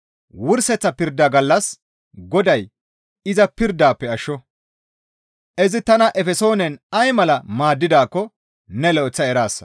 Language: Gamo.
Wurseththa pirda gallas Goday iza pirdafe ashsho; izi tana Efesoonen ay mala maaddidaakko ne lo7eththa eraasa.